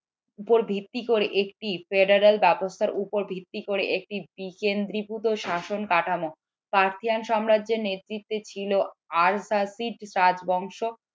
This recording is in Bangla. উপর ভিত্তি করে একটি federal অবস্থার উপর ভিত্তি করে একটি দ্বিকেন্দ্রীভূত শাসন কাঠামো সাম্রাজ্যের নেতৃত্বে ছিল রাজবংশ